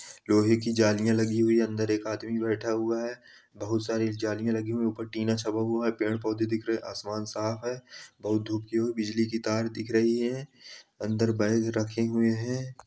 लोहे की जालियां लगी हुई है। अंदर एक आदमी बैठा हुआ है। बहोत सारी जालियां लगी हुए है। ऊपर टिन ा छपा हुआ है। पेड़ पौधे दिख रहे है। आसमान साफ है। बहोत धूप बिजली की तार दिख रही है। अंदर बैग रखे हुए हैं।